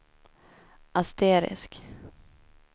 asterisk